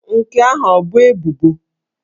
Nke ahụ ọ bụ ebubo?